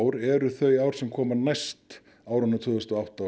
ár eru þau ár sem koma næst árunum tvö þúsund og átta